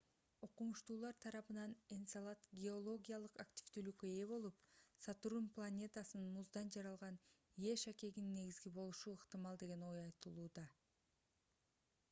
окумуштуулар тарабынан энцелад геологиялык активдүүлүккө ээ болуп сатурн планетасынын муздан жаралган е шакегинин негизи болушу ыктымал деген ой айтылды